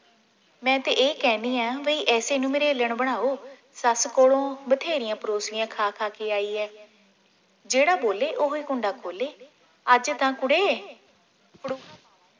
ਮੈ ਤੇ ਇਹ ਕਹਿਣੀ ਆ ਵੀ ਇਸੇ ਨੂੰ ਮਰੇਲਨ ਬਣਾਓ ਸੱਸ ਕੋਲੋਂ ਬਥੇਰੀਆਂ ਪ੍ਰੋਸੀਆਂ ਖਾ ਖਾ ਕੇ ਆਈ ਏ ਜਿਹੜਾ ਬੋਲੇ ਉਹੋਈ ਕੁੰਡਾ ਖੋਲੇ ਅੱਜ ਤਾਂ ਕੁੜੇ